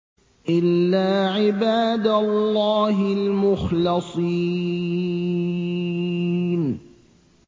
إِلَّا عِبَادَ اللَّهِ الْمُخْلَصِينَ